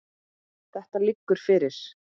Þetta liggur fyrir.